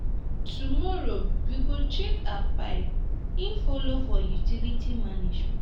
tomorrow we go check our pipes e folo for utilities management.